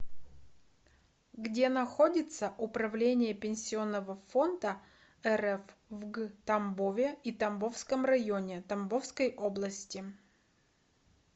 где находится управление пенсионного фонда рф в г тамбове и тамбовском районе тамбовской области